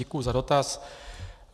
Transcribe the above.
Děkuji za dotaz.